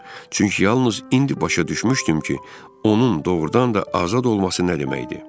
Çünki yalnız indi başa düşmüşdüm ki, onun doğurdan da azad olması nə deməkdir.